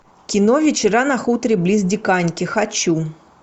кино вечера на хуторе близ диканьки хочу